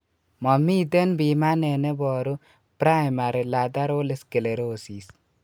Momiten pimanet neboru primary lateral sclerosis